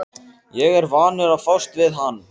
Ég er vanur að fást við hann!